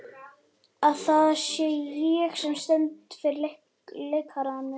Að það sé ég, sem stend fyrir lekanum.